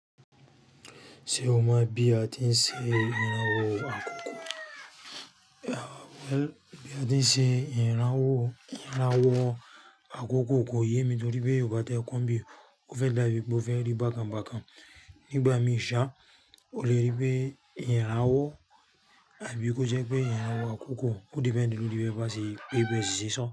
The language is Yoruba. Ṣé o mọ̀ bí a ti ń ṣe ìrànwọ́ àkókò? Bí a ti ń ṣe ìrànwọ́ àkókò kò yé mi torí pé ò bá tẹ́ ẹ kóbi, o fẹ́ dàbí pé o fẹ́ rí bákan bákan. Nígbà mí ṣà, o lè rí pé ìrànwọ́ àbí kò jẹ́ pé ìrànwọ́ àkókò. Ó depend ní bí wọ́n bá ṣe pé ìbẹ́sì séṣán.